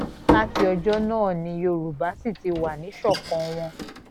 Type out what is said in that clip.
láti ọjọ́ náà ni yorùbá sì ti wà níṣọ̀kan wọn